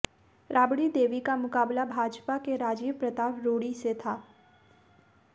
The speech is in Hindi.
राबड़ी देवी का मुकाबला भाजपा के राजीव प्रताप रूड़ी से था